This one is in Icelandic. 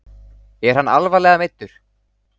Er hann alvarlega meiddur?